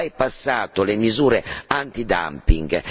bypassato le misure antidumping.